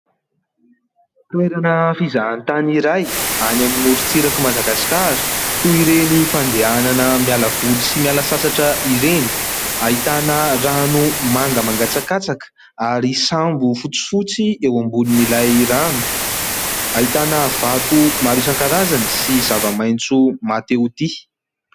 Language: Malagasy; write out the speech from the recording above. Toerana fizahan-tany iray any amin'ny morontsirak'i Madagasikara toy ireny fandehanana miala voly sy miala sasatra ireny. Ahitana rano manga mangatsakatsaka ary sambo fotsifotsy eo ambonin' ilay rano, ahitana vato maro isan-karazany sy zava-maitso mahatehotia.